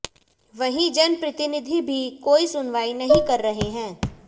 वहीं जनप्रतिनिधि भी कोई सुनवाई नही कर रहे है